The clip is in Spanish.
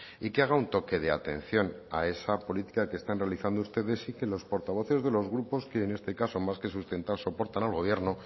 y que haga un toque de atención a esa política que están realizando ustedes y que los portavoces de los grupos y en este caso más que sustentare soportan al gobierno